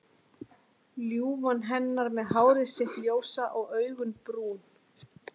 Ljúfan hennar með hárið sitt ljósa og augun brún.